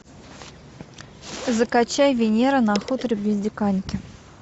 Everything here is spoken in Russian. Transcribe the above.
закачай венера на хуторе близ диканьки